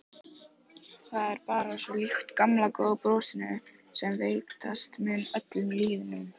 Það er bara svo líkt gamla góða brosinu sem veitast mun öllum lýðnum.